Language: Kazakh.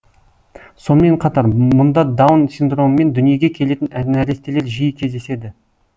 сонымен қатар мұнда даун синдромымен дүниеге келетін нәрестелер жиі кездеседі